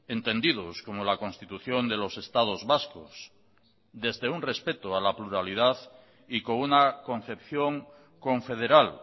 entendidos como la constitución de los estados vascos desde un respeto a la pluralidad y con una concepción confederal